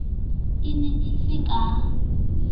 e ne e se ka